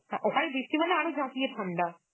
হ্যাঁ ওখানে বৃষ্টি মানে আরো ঝাঁপিয়ে ঠান্ডা